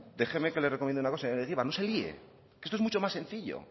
déjenme que le recomiende una cosa señor egibar no se lie esto es mucho más sencillo